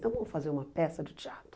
Então, vamos fazer uma peça de teatro.